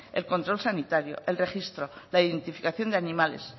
el control sanitario el registro la identificación de animales